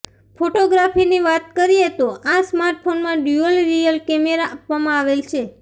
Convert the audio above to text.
ફોટોગ્રાફીની વાત કરીએતો આ સ્માર્ટફોનમાં ડ્યુઅલ રિયર કેમેરા આપવામાં આવેલ છે